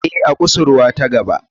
Ee, a kusurwa ta gaba.